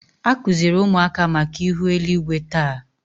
A kụziri ụmụaka maka ihu eluigwe taa